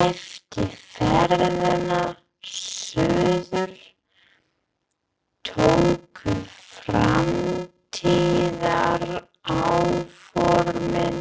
Eftir ferðina suður tóku framtíðaráformin